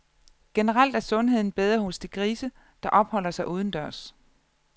Generelt er sundheden bedre hos de grise, der opholder sig udendørs.